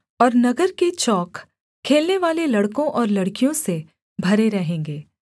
और नगर के चौक खेलनेवाले लड़कों और लड़कियों से भरे रहेंगे